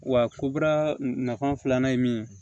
Wa kobara nafa filanan ye min ye